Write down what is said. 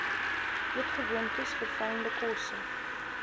eetgewoontes verfynde kosse